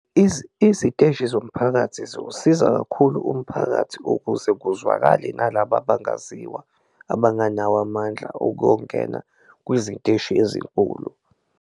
Iziteshi zomphakathi ziwusiza kakhulu umphakathi ukuze kuzwakale nalaba abangaziwa, abanganawo amandla okuwongena kwiziteshi ezinkulu.